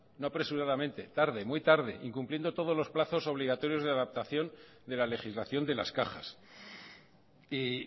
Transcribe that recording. no apresuradamente muy tarde incumpliendo todos los plazos obligatorios de adaptación de la legislación de las cajas y